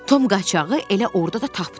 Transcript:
Tom qaçağı elə orada da tapdı.